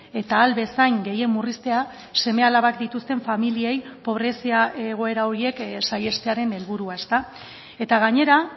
eta ahal bezain gehien murriztea seme alabak dituzten familiei pobrezia egoera horiek saihestearen helburua eta gainera